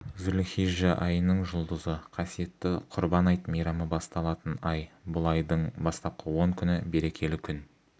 зульхижжә айының жұлдызы қасиетті құрбан айт мейрамы басталатын ай бұл айдың бастапқы он күні берекелі күн